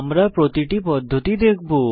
আমরা প্রতিটি পদ্ধতি দেখব